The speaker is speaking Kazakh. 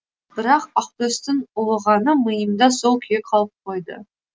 бірақ ақтөстің ұлығаны миымда сол күйі қалып қойды